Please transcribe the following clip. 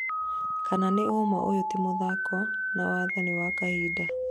kana nĩ ũma ũyũ ti mũthako, na watho ni wa kahinda